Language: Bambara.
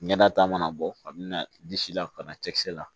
Ɲɛnata mana bɔ ka mina disi la ka na cɛkisɛ la